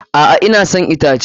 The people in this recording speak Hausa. A'a, ina son itace.